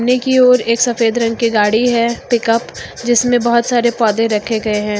ने की ओर एक सफेद रंग की गाड़ी है पिकअप जिसमें बहोत सारे पौधे रखे गए हैं।